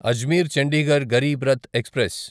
Ajmer Chandigarh Garib Rath express